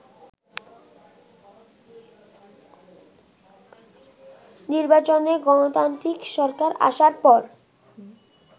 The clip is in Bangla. নির্বাচনে গণতান্ত্রিক সরকার আসার পর